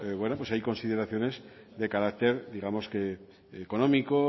hay consideraciones de carácter económico